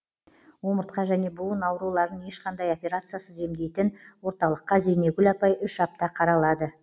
омыртқа және буын ауруларын ешқандай операциясыз емдейтін орталыққа зейнегүл апай үш апта қаралады